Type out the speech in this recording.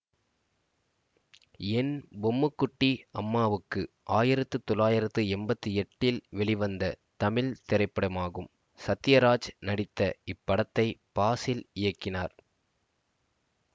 என் பொம்முக்குட்டி அம்மாவுக்கு ஆயிரத்து தொள்ளாயிரத்து எம்பத்தி எட்டு இல் வெளிவந்த தமிழ் திரைப்படமாகும் சத்யராஜ் நடித்த இப்படத்தை பாசில் இயக்கினார்